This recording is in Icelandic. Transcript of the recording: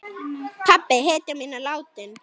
Pabbi, hetjan mín, er látinn.